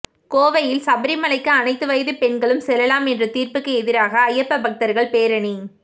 கோவையில் சபரிமலைக்கு அனைத்து வயது பெண்களும் செல்லலாம் என்ற தீர்ப்புக்கு எதிராக ஐயப்ப பக்தர்கள் பேரணி